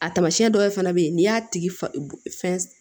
A tamasiyɛn dɔw fana bɛ yen n'i y'a tigi fɛn